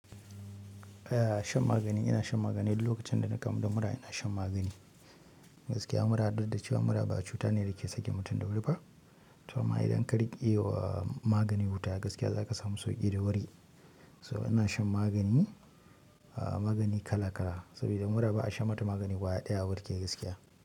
Eh shan magani, ina shan magani duk lokacin dana kamu da mura ina shan magani. Gaskiya mura dukda cewa mura ba cuta ne dake sakin mutum da wuri ba. To amma idan ka riƙewa magani wuta gaskiya zaka samu sauki da wuri. So ina shan magani, magani kala kala saboda mura ba'a sha mata magani ƙwaya ɗaya a warke gaskiya.